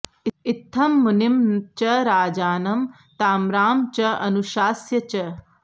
इत्थं मुनिं च राजानं ताम्रां च अनुशास्य च